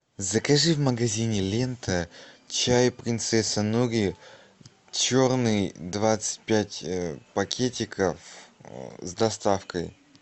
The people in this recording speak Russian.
закажи в магазине лента чай принцесса нури черный двадцать пять пакетиков с доставкой